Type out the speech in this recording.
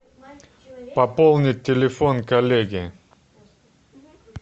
пополнить телефон коллеги